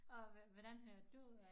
Og hvordan hørte du om